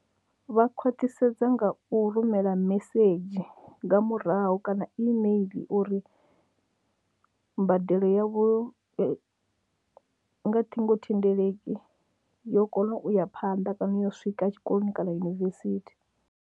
Vha khwaṱhisedza nga u rumela message nga murahu kana email uri mbadelo yavho nga ṱhingothendeleki yo kona u ya phanḓa kana yo swika tshikoloni kana yunivesithi.